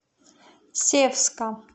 севска